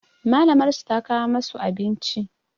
Malamar su ta kawo masu abinci